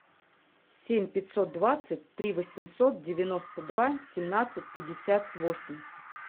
семь пятьсот двадцать три восемьсот девяносто два семнадцать пятьдесят восемь